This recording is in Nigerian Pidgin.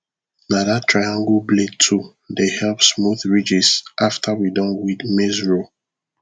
na that triangle blade tool dey help smooth ridges after we don weed maize row